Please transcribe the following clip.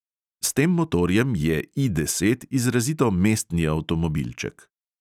S tem motorjem je I deset izrazito mestni avtomobilček.